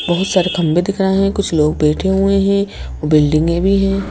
बहुत सारे खंबे दिख रहे हैं कुछ लोग बैठे हुए हैं बिल्डिंगें भी हैं।